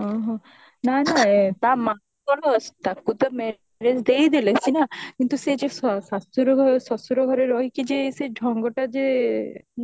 ହଁ ହଁ ନା ନା ଆଁ ତା ମାଙ୍କର ତାକୁ ତ marriage ଦେଇଦେଲେ ସିନା କିନ୍ତୁ ସେ ଯୋଉ ଶାଶୁ ଶଶୁର ଘରେ ରହିକି ଯିଏ ସେ ଢଙ୍ଗଟା ଯିଏ